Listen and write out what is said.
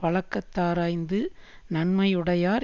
வழக்கதாராய்ந்து நன்மையுடையார்